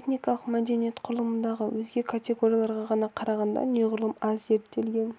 этникалық мәдениет құрылымындағы өзге категорияларға қарағанда неғұрлым аз зерттелген